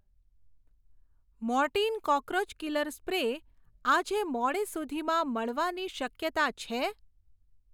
Mortein cockroach killer spray આજે મોડે સુધીમાં મળવાની શક્યતા છે?